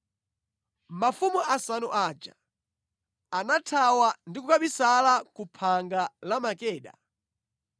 Mafumu asanu aja anathawa ndi kukabisala ku phanga la Makeda.